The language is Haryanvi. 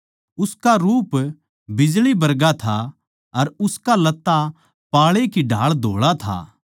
उसका रूप बिजळी बरगा था अर उसका लत्ता पाळे की ढाळ धोळा था